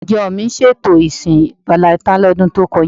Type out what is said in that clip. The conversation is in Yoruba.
Ìjọ mi ṣètò ìsìn valẹntain lọ́dún tó kọjá.